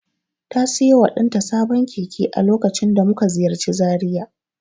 Ta siyo wa ɗanta sabon keke a lokacin da muka ziyarci Zaria.